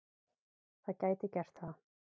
Það gæti gert það.